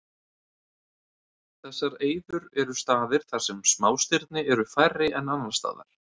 Þessar eyður eru staðir þar sem smástirni eru færri en annars staðar.